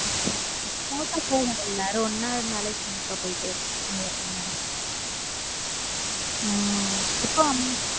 smooth ஆ போகும் எல்லாரும் ஒண்ணா இருந்தாலும் smooth ஆ போயிடு இருக்கும் உம் இப்போ.